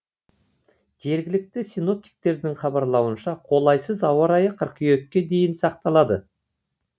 жергілікті синоптиктердің хабарлауынша қолайсыз ауа райы қыркүйекке дейін сақталады